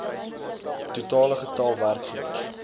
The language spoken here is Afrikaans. totale getal werkgewers